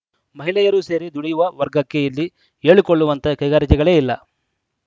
ಮಹಿಳೆಯರೂ ಸೇರಿ ದುಡಿಯುವ ವರ್ಗಕ್ಕೆ ಇಲ್ಲಿ ಹೇಳಿಕೊಳ್ಳುವಂತಹ ಕೈಗಾರಿಕೆಗಳೇ ಇಲ್ಲ